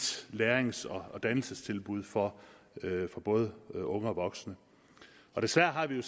lærings og dannelsestilbud for både unge og voksne desværre har vi